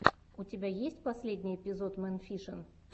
у тебя есть последний эпизод мэн фишин